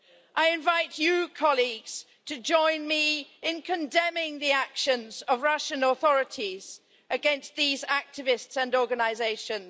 I invite you, colleagues, to join me in condemning the actions of the Russian authorities against these activists and organisations.